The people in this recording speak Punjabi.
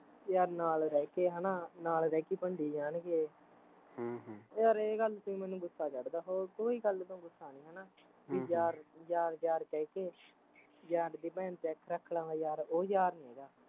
ਯਾਰ ਨਾਲ਼ ਰਹਿਕੇ ਹੈਨਾ, ਨਾਲ਼ ਰਹਿਕੇ ਈ ਭੰਡੀ ਜਾਣਗੇ ਹਮ ਹਮ ਯਾਰ ਏਹ ਗੱਲ ਤੇ ਈ ਮੈਨੂੰ ਗੁੱਸਾ ਚੜਦਾ ਹੋਰ ਕੋਈ ਗੱਲ ਤੋਂ ਗੁੱਸਾ ਨੀ ਹੈਨਾ ਹਮ ਵੀ ਯਾਰ ਯਾਰ ਕਹਿਕੇ ਯਾਰ ਡੀ ਭੈਣ ਤੇ ਅੱਖ ਰੱਖ ਲਵੇ ਯਾਰ ਉਹ ਯਾਰ ਨੀ ਹੈਗਾ